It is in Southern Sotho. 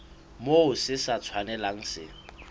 moo se sa tshwanelang se